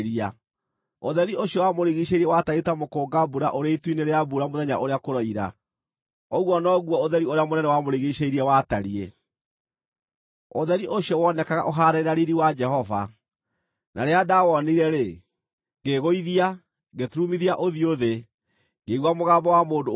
Ũtheri ũcio wamũrigiicĩirie watariĩ ta mũkũnga-mbura ũrĩ itu-inĩ rĩa mbura mũthenya ũrĩa kũroira, ũguo noguo ũtheri ũrĩa mũnene wamũrigiicĩirie watariĩ. Ũtheri ũcio wonekaga ũhaanaine na riiri wa Jehova. Na rĩrĩa ndawonire-rĩ, ngĩĩgũithia, ngĩturumithia ũthiũ thĩ, ngĩigua mũgambo wa mũndũ ũkwaria.